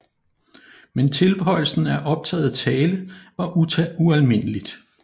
Men tilføjelsen af optaget tale var ualmindeligt